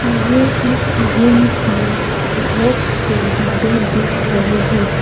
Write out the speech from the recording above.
मुझे इस रूम में बहोत से डिब्बे दिख रहे है।